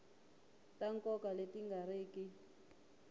ta nkoka leti nga riki